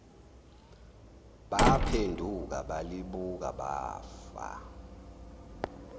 baphenduka balibuka bafa